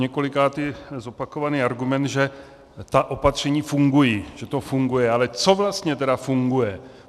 Poněkolikáté zopakovaný argument, že ta opatření fungují, že to funguje - ale co vlastně tedy funguje?